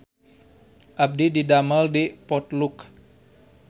Abdi didamel di Potluck